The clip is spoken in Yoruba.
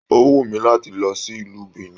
O wù mí láti lọ sí ìlú Benin.